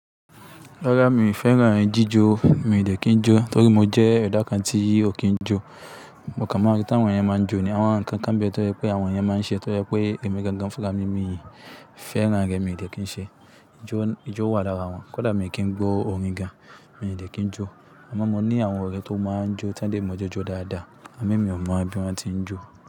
Rárá mi ò fẹ́ràn ẹyin jíjọ, mi ò dè kí n jó torí mo jẹ́ eda kan tí ò kí n jó. Mo kàn mọ̀ rí tàwọn máa ń jó ni, àwọn nǹkan kan bẹ tó jẹpẹ́ àwọn ẹyan máa ń ṣe tó jẹpẹ́ èmi gangan fúnra mí mií fẹ́ràn rẹ̀ mi ò dè kí n ṣe. Ijó, ijó wà lára wọn. Kódà mi kí ń gbọ́ orin gan, mi ò dè kí n jó. Sugbon mó ni àwọn ọ̀rẹ́ tó máa ń jó tan dẹ́ mojó jo dáadáa. Ẹ̀mí mi ò mọ bí wọ́n ti ń jó.